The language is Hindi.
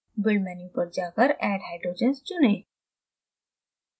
build menu पर जाकर add hydrogens चुनें